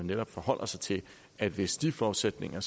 netop forholder sig til at hvis de forudsætninger